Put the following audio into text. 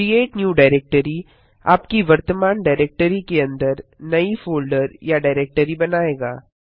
create new directory आपकी वर्तमान directory के अंदर नई फोल्डर या डाइरेक्टरी बनायेगा